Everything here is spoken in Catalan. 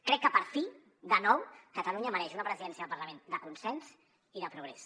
crec que per fi de nou catalunya mereix una presidència del parlament de consens i de progrés